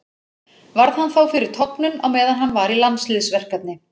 Varð hann þá fyrir tognun á meðan hann var í landsliðsverkefni.